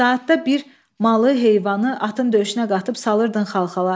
Saatda bir malı, heyvanı, atın döşünə qatıb salırdın Xalxala.